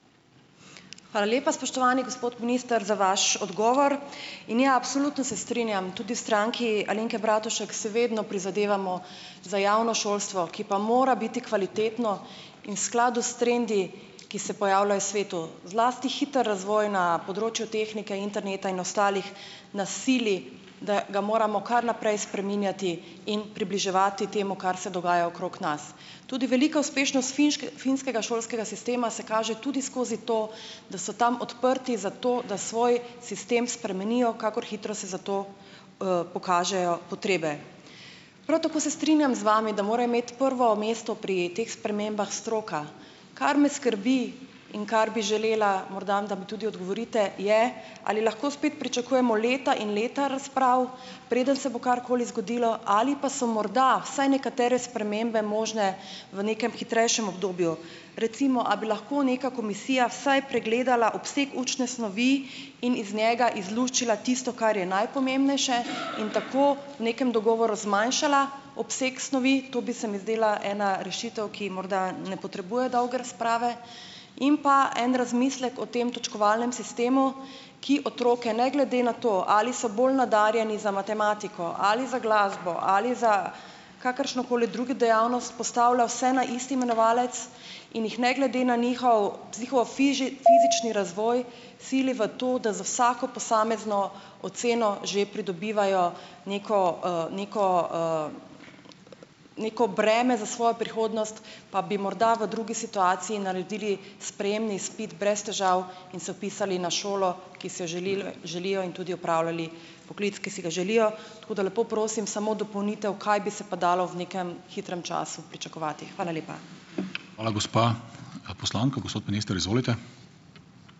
Hvala lepa, spoštovani gospod minister, za vaš odgovor. In ja, absolutno se strinjam, tudi v Stranki Alenke Bratušek si vedno prizadevamo za javno šolstvo, ki pa mora biti kvalitetno in v skladu s trendi, ki se pojavljajo v svetu, zlasti hiter razvoj na področju tehnike, interneta in ostalih nas sili, da ga moramo kar naprej spreminjati in približevati temu, kar se dogaja okrog nas. Tudi velika uspešnost finskega šolskega sistema se kaže tudi skozi to, da so tam odprti za to, da svoj sistem spremenijo, kakor hitro se za to, pokažejo potrebe. Prav tako se strinjam z vami, da mora imeti prvo mesto pri teh spremembah stroka. Kar me skrbi in kar bi želela morda, da mi tudi odgovorite, je, ali lahko spet pričakujemo leta in leta razprav, preden se bo karkoli zgodilo, ali pa so morda vsaj nekatere spremembe možne v nekem hitrejšem obdobju. Recimo, a bi lahko neka komisija vsaj pregledala obseg učne snovi in iz njega izluščila tisto, kar je najpomembnejše, in tako v nekem dogovoru zmanjšala obseg snovi? To bi se mi zdela ena rešitev, ki morda ne potrebuje dolge razprave. In pa en razmislek o tem točkovalnem sistemu, ki otroke ne glede na to, ali so bolj nadarjeni za matematiko ali za glasbo ali za kakršnokoli drugi dejavnost, postavlja vse na isti imenovalec in jih ne glede na njihov fizični razvoj sili v to, da za vsako posamezno oceno že pridobivajo neko, neko, neko breme za svojo prihodnost, pa bi morda v drugi situaciji naredili sprejemni izpit brez težav in se vpisali na šolo, ki si jo želilo želijo, in tudi opravljali poklic, ki si ga želijo. Tako da lepo prosim, samo dopolnitev, kaj bi se pa dalo v nekem hitrem času pričakovati. Hvala lepa.